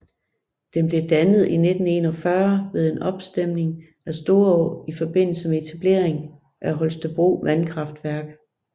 Den blev dannet i 1941 ved en opstemning af Storå i forbindelse med etablering af Holstebro vandkraftværk